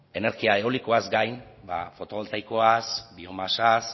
energia eolikoaz gain fotovoltaikoaz biomasaz